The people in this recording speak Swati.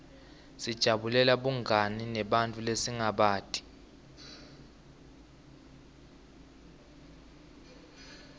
sijabulela bungani nebantfu lesingabati